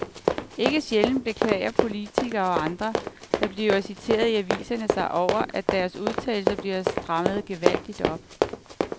Ikke sjældent beklager politikere og andre, der bliver citeret i aviserne sig over, at deres udtalelser bliver strammet gevaldigt op.